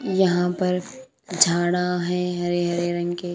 यहां पर झाड़ा हैं हरे हरे रंग के।